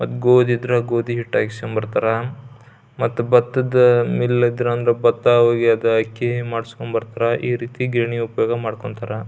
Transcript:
ಒಂದ್ ಗೋದಿ ಇದ್ರ ಗೋದಿ ಹಿಟ್ ಹಯ್ಸ್ಕೊಂಡ್ ಬರ್ತಾರಾ ಬತ್ತ ಇದ್ರ ಮಿಲ್ ಇದ್ರ ಬತ್ತದ್ದ್ದು ಅಕ್ಕಿ ಮಾಡ್ಸ್ಕೊಂಡ್ ಬರ್ತಾರಾ ಈ ರೀತಿ ಗಿರಣಿ ಉಪಯೋಗ ಮಾಡ್ಕೊಂತರ.